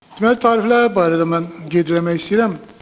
Mən tariflər barədə mən qeyd eləmək istəyirəm.